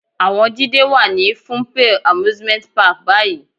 Àwọn Jídé wà ní Funple Amusement Park báyìí.